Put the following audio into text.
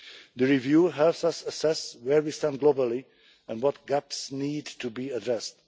The review helps us assess where we stand globally and what gaps need to be addressed.